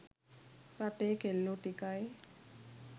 රටේ කෙල්ලෝ ටිකයි